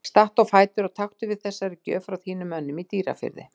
Stattu á fætur og taktu við þessari gjöf frá þínum mönnum í Dýrafirði.